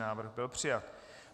Návrh byl přijat.